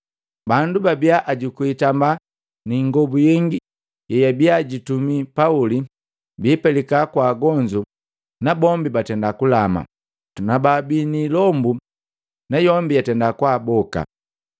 Bandu babia ajuku hitambaa ni ingobu yengi yeyabii jitumi Pauli, biipelika kwa agonzu, nabombi batenda kulama, na bababii ni ilombu nayombi yatenda kwaaboka.